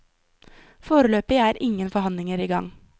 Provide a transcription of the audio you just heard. Foreløpig er ingen forhandlinger i gang.